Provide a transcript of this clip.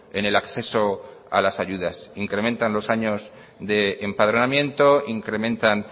en el acceso a las ayudas incrementan los años de empadronamiento incrementan